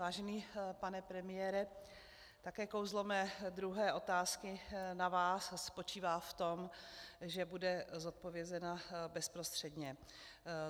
Vážený pane premiére, také kouzlo mé druhé otázky na vás spočívá v tom, že bude zodpovězena bezprostředně.